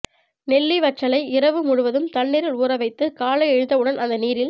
நெல்லி வற்றலை இரவு முழுவதும் தண்ணீரில் ஊற வைத்து காலை எழுந்தவுடன் அந்த நீரில்